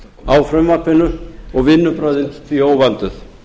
á frumvarpinu og vinnubrögðin því óvönduð